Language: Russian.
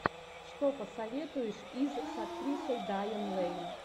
что посоветуешь из с актрисой дайан лэйн